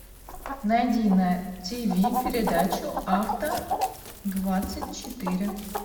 найди на тиви передачу авто двадцать четыре